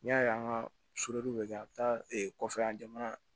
N'i y'a ye an ka bɛ kɛ a bɛ taa kɔfɛ an jamana